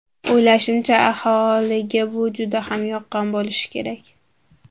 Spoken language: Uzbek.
O‘ylashimcha, aholiga bu juda ham yoqqan bo‘lishi kerak.